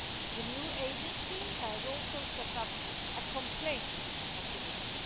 The new Agency has also set up a complaints mechanism.